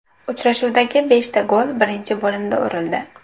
Uchrashuvdagi beshta gol birinchi bo‘limda urildi.